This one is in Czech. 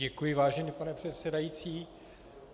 Děkuji, vážený pane předsedající.